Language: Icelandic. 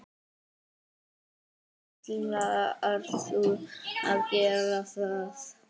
Ætlar þú að gera það?